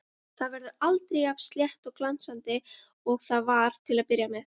Það verður aldrei jafn slétt og glansandi og það var til að byrja með.